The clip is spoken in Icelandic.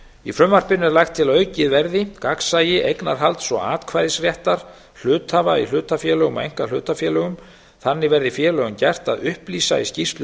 í frumvarpinu er lagt til að aukið verði gagnsæi eignarhalds og atkvæðisréttar hluthafa í hlutafélögum og einkahlutafélögum þannig verði félögum gert að upplýsa í skýrslu